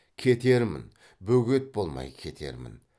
кетермін бөгет болмай кетермін